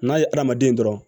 N'a ye hadamaden dɔrɔn